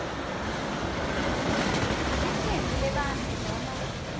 licembu lebantfu noma